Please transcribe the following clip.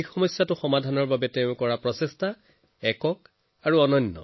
নৰাৰ সমস্যা সমাধান কৰিবলৈ বীৰেন্দ্ৰজীয়ে নৰাৰ গাঁথ বনোৱা ষ্ট্ৰ বেলাৰ মেচিন ক্ৰয় কৰে